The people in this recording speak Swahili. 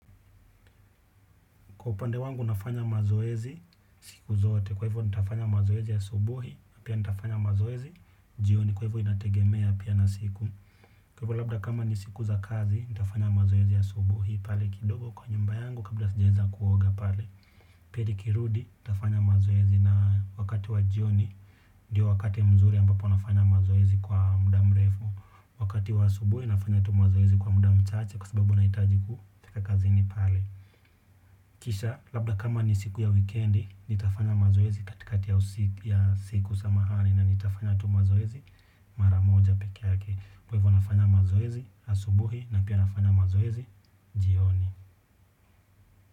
Kwa upande wangu nafanya mazoezi siku zote kwa hivo ntafanya mazoezi asubuhi na pia ntafanya mazoezi jioni kwa hivyo inategemea pia na siku. Kwa hivyo labda kama ni siku za kazi ntafanya mazoezi asubuhi pale kidogo kwa nyumba yangu kabla sijaweza kuoga pale. Pia nikirudi ntafanya mazoezi na wakati wa jioni ndiyo wakati mzuri ambapo nafanya mazoezi kwa muda mrefu. Wakati wa subuhi nafanya tu mazoezi kwa muda mchache kwa sababu nahitaji kufika kazini pale. Kisha labda kama ni siku ya wikendi nitafanya mazoezi katikati ya usiku ya siku samahani na nitafanya tu mazoezi mara moja peke yake. Kwa hivyo nafanya mazoezi asubuhi na pia nafanya mazoezi jioni.